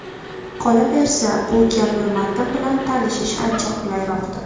Qolaversa, bu kabi matn bilan tanishish ancha qulayroqdir.